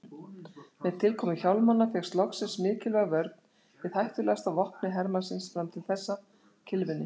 Með tilkomu hjálmanna fékkst loksins mikilvæg vörn við hættulegasta vopni hermannsins fram til þessa, kylfunni.